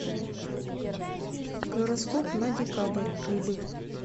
гороскоп на декабрь рыбы